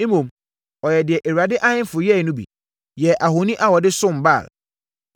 Mmom, ɔyɛɛ deɛ Israel ahemfo yɛeɛ no bi, yɛɛ ahoni a wɔde som Baal.